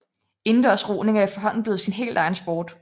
Indendørs roning er efterhånden blevet sin helt egen sport